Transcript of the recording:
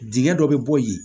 Dingɛ dɔ bɛ bɔ yen